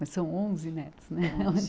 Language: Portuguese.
Mas são onze netos, né?